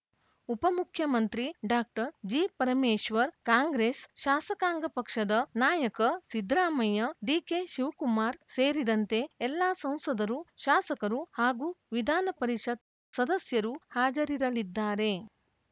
ಉಪಮುಖ್ಯಮಂತ್ರಿ doctor G Parameshwar Congress ಶಾಸಕಾಂಗ ಪಕ್ಷದ ನಾಯಕ ಸಿದ್ದರಾಮಯ್ಯ ಡಿಕೆ ಶಿವಕುಮಾರ್‌ ಸೇರಿದಂತೆ ಎಲ್ಲಾ ಸಂಸದರು ಶಾಸಕರು ಹಾಗೂ ವಿಧಾನಪರಿಷತ್‌ ಸದಸ್ಯರು ಹಾಜರಿರಲಿದ್ದಾರೆ